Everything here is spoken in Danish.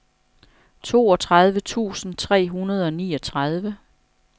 toogtredive tusind tre hundrede og niogtredive